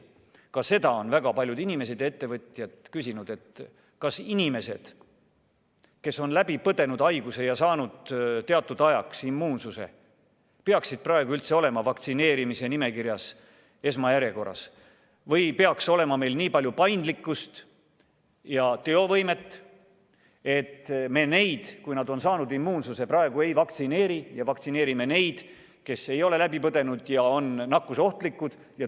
Ka seda on väga paljud inimesed ja ettevõtjad küsinud, kas inimesed, kes on haiguse läbi põdenud ja saanud teatud ajaks immuunsuse, peaksid praegu üldse olema vaktsineerimisnimekirjas esmajärjekorras või peaks meil olema nii palju paindlikkust ja teovõimet, et me neid, kui nad on saanud immuunsuse, praegu ei vaktsineeri ja vaktsineerimine neid, kes ei ole haigust läbi põdenud ja on nakkusohtlikud.